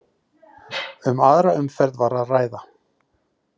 Um aðra umferð var að ræða